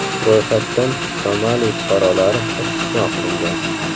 Ro‘yxatdan Somali fuqarolari istisno qilingan.